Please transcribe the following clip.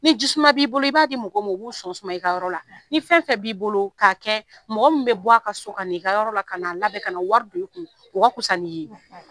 Ni ji suma b'i bolo i b'a di mɔgɔ ma u b'u sɔn suma ii ka yɔrɔ la ni fɛn fɛn b'i bolo k'a kɛ mɔgɔ min bɛ bɔ a ka so ka n' i ka yɔrɔ la k'a labɛn ka na wari don i kun o ka fisa n'i ye